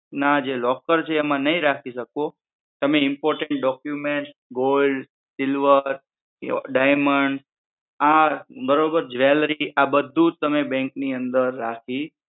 આ જે locker છે એમાં નહિ રાખી શકો. તમે important documents, gold, silver કે diamond આ બરોબર જ્વેલરી બધુજ તમે bank ની અંદર રાખી